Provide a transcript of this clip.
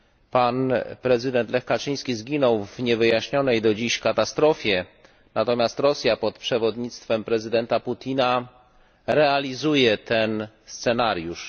Pan prezydent Lech Kaczyński zginął w niewyjaśnionej do dziś katastrofie, natomiast Rosja pod przewodnictwem prezydenta Putina realizuje ten scenariusz.